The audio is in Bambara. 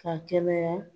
Ka kɛnɛya